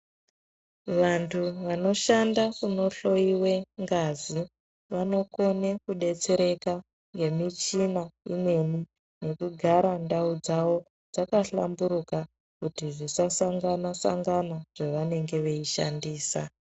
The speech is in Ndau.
Vantu vanoshanda kunohloiwe ngazi vanokone kudetsereka nemichina imweni, nekugara ndau dzavo dzakahlamburuka kuti zvisasangana-sangana zvavanenge veishandisa.